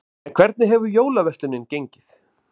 En hvernig hefur jólaverslunin gengið?